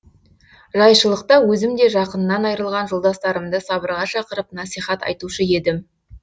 жайшылықта өзім де жақынынан айрылған жолдастарымды сабырға шақырып насихат айтушы едім